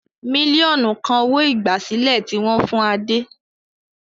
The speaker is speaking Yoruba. Mílíọ̀nù kan owó-ìgbàsílẹ̀ tí wọ́n fún Adé.